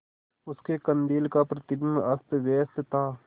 उसके कंदील का प्रतिबिंब अस्तव्यस्त था